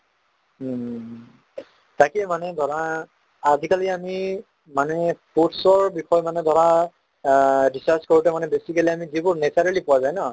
উম উম । তাকে মানে ধৰা আজি কালি আমি মানে foods ৰ বিষয়ে মানে ধৰা আহ research কৰোতে মানে basically মানে আমি যিবোৰ naturally পোৱা যায় ন